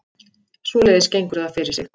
Svoleiðis gengur það fyrir sig